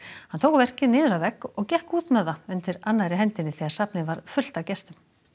hann tók verkið niður af vegg og gekk út með það undir annarri hendinni þegar safnið var fullt af gestum